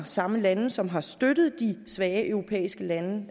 samme lande som har støttet de svage europæiske lande